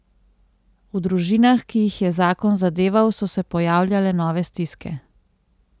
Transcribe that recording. V družinah, ki jih je zakon zadeval, so se pojavljale nove stiske.